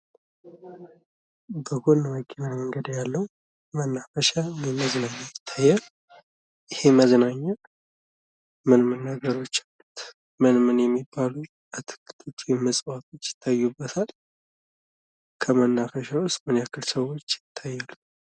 በጎን መኪና መንገድ ያለው መናፈሻ ወይም መዝናኛ ይታያል ይህም መናፈሻ ምን ምን ነገሮች ምን ምን የሚባሉ አትክልት ወይም እፅዋቶች ይታየናል? ከመነፈሻውስ ምን ያክል ሰዎች ይታዩናል?